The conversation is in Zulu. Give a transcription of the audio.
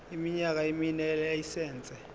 iminyaka emine yelayisense